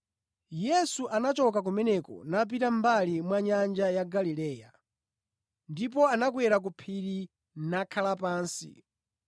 Yesu anachoka kumeneko napita mʼmbali mwa nyanja ya Galileya. Ndipo anakwera ku phiri nakhala pansi.